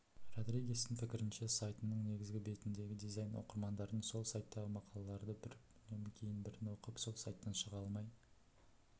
родригестің пікірінше сайтының негізгі бетіндегі дизайн оқырмандардың сол сайттағы мақалаларды бірінен кейін бірін оқып сол сайттан шыға алмай